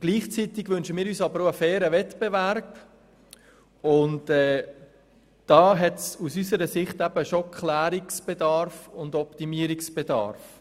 Gleichzeitig wünschen wir uns aber auch einen fairen Wettbewerb, und hier besteht aus unserer Sicht ein Klärungs- und Optimierungsbedarf.